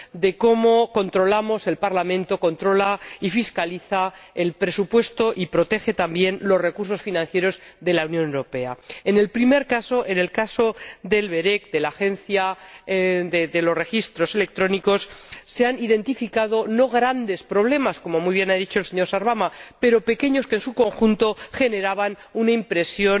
de cómo el Parlamento controla y fiscaliza el presupuesto y protege también los recursos financieros de la Unión Europea. En el primer caso, el caso del ORECE, el Organismo de Reguladores Europeos de las Comunicaciones Electrónicas, se han identificado no grandes problemas —como muy bien ha dicho el señor Sarvamaa—, pero sí pequeños que, en su conjunto, generaban una impresión